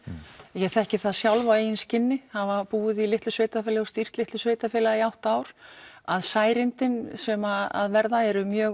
ég þekki það sjálf á eigin skinni hafa búið í litlu sveitarfélagi og stýrt litlu sveitarfélagi í átta ár að sem verða eru mjög